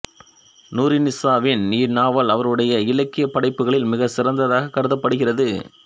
நூருன்னிசாவின் இந்நாவல் அவருடைய இலக்கியப் படைப்புகளில் மிகச் சிறந்ததாகக் கருதப்படுகிறது